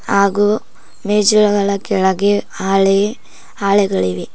ಹಾಗು ಮೆಜಳಗಳ ಕೆಳಗೆ ಹಾಳೆ ಹಾಳೆಗಳಿವೆ.